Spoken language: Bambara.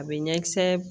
A bɛ ɲɛ kisɛ